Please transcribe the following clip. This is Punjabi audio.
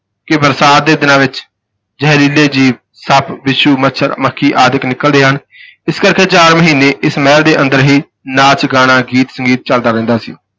ਕਿ ਬਰਸਾਤ ਦੇ ਦਿਨਾਂ ਵਿਚ ਜਹਿਰੀਲੇ ਜੀਵ, ਸੱਪ, ਬਿੱਛੂ, ਮੱਛਰ, ਮੱਖੀ ਆਦਿਕ ਨਿਕਲਦੇ ਹਨ ਇਸ ਕਰਕੇ ਚਾਰ ਮਹੀਨੇ ਇਸ ਮਹੱਲ ਦੇ ਅੰਦਰ ਹੀ ਨਾਚ ਗਾਣਾ, ਗੀਤ ਸੰਗੀਤ ਚਲਦਾ ਰਹਿੰਦਾ ਸੀ।